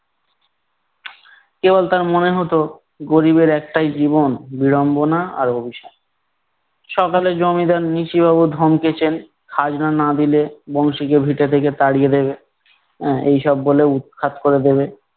কেবল তার মনে হতো গরিবের একটাই জীবন বিড়ম্বনা আর অভিশাপ। সকালে জমিদার নিশিবাবু ধমকেছেন, খাজনা না দিলে বংশীকে ভিটে থেকে তাড়িয়ে দেবে, এর এইসব বলে উৎখাত করে দিবে